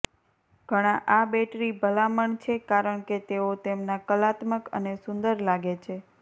ઘણા આ બેટરી ભલામણ છે કારણ કે તેઓ તેમના કલાત્મક અને સુંદર લાગે છે